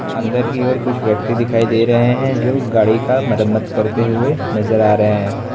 अंदर की ओर कुछ व्यक्ति दिखाई दे रहे हैं जो गाड़ी का मरम्मत करते हुए नजर आ रहे है।